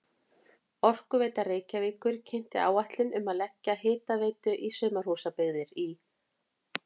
Orkuveita Reykjavíkur kynnti áætlanir um að leggja hitaveitu í sumarhúsabyggðir í